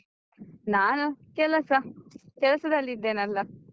ನಾನು ಕೆಲಸ, ಕೆಲಸದಲ್ಲಿದ್ದೇನಲ್ಲ.